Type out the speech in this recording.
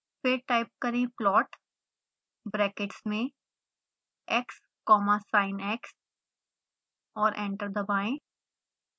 फिर टाइप करें plot brackets में x comma sinx और एंटर दबाएं